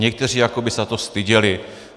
Někteří jako by se za to styděli.